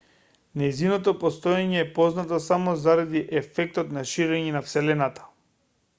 нејзиното постоење е познато само заради ефектот на ширење на вселената